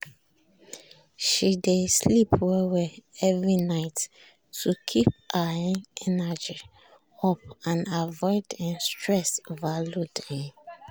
she dey sleep well every night to keep her um energy up and avoid um stress overload. um